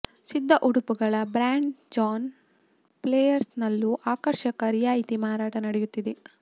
ಸಿದ್ಧ ಉಡುಪುಗಳ brand John ಪ್ಲೇಯರ್ಸ್ನಲ್ಲೂ ಆಕರ್ಷಕ ರಿಯಾಯ್ತಿ ಮಾರಾಟ ನಡೆಯುತ್ತಿದೆ